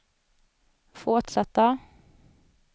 fortsatta